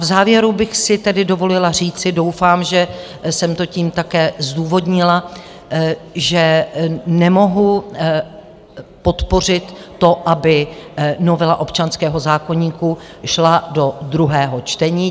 V závěru bych si tedy dovolila říci, doufám, že jsem to tím také zdůvodnila, že nemohu podpořit to, aby novela občanského zákoníku šla do druhého čtení.